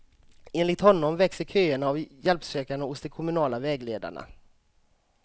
Enligt honom växer köerna av hjälpsökande hos de kommunala vägledarna.